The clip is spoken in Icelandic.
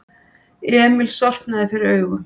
Emil sortnaði fyrir augum.